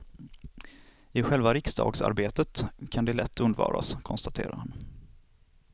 I själva riksdagsarbetet kan de lätt undvaras, konstaterar han.